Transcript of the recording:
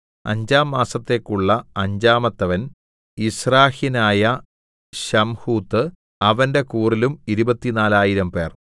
അഞ്ചാം മാസത്തേക്കുള്ള അഞ്ചാമത്തവൻ യിസ്രാഹ്യനായ ശംഹൂത്ത് അവന്റെ കൂറിലും ഇരുപത്തിനാലായിരംപേർ 24000